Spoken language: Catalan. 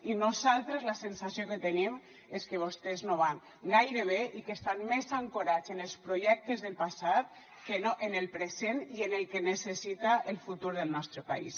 i nosaltres la sensació que tenim és que vostès no van gaire bé i que estan més ancorats en els projectes del passat que no en el present i en el que necessita el futur del nostre país